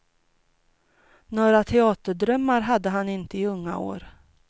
Några teaterdrömmar hade han inte i unga år.